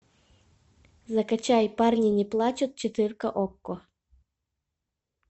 закачай парни не плачут четыре ка окко